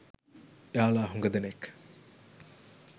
එයාලා හුඟ දෙනෙක්